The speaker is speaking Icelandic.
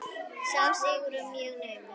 Sá sigur var mjög naumur.